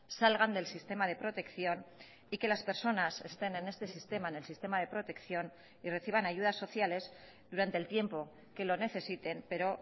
salgan del sistema de protección y que las personas estén en este sistema en el sistema de protección y reciban ayudas sociales durante el tiempo que lo necesiten pero